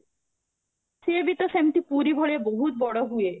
ସେବି ତ ପୁରୀ ଭଳିଆ ବହୁତ ବଡ଼ ହୁଏ